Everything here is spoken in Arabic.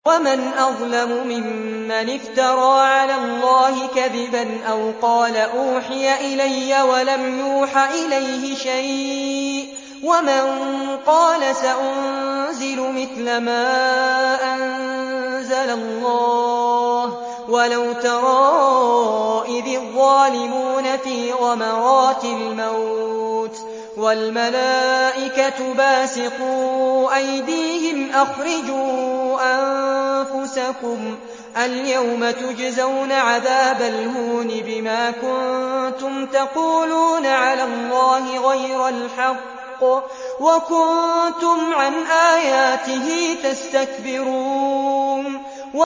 وَمَنْ أَظْلَمُ مِمَّنِ افْتَرَىٰ عَلَى اللَّهِ كَذِبًا أَوْ قَالَ أُوحِيَ إِلَيَّ وَلَمْ يُوحَ إِلَيْهِ شَيْءٌ وَمَن قَالَ سَأُنزِلُ مِثْلَ مَا أَنزَلَ اللَّهُ ۗ وَلَوْ تَرَىٰ إِذِ الظَّالِمُونَ فِي غَمَرَاتِ الْمَوْتِ وَالْمَلَائِكَةُ بَاسِطُو أَيْدِيهِمْ أَخْرِجُوا أَنفُسَكُمُ ۖ الْيَوْمَ تُجْزَوْنَ عَذَابَ الْهُونِ بِمَا كُنتُمْ تَقُولُونَ عَلَى اللَّهِ غَيْرَ الْحَقِّ وَكُنتُمْ عَنْ آيَاتِهِ تَسْتَكْبِرُونَ